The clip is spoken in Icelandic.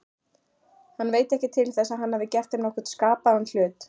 Hann veit ekki til þess að hann hafi gert þeim nokkurn skapaðan hlut.